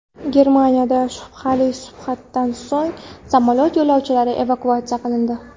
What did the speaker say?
Germaniyada shubhali suhbatdan so‘ng samolyot yo‘lovchilari evakuatsiya qilindi.